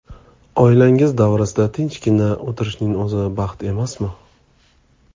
Oilangiz davrasida tinchgina o‘tirishning o‘zi baxt emasmi?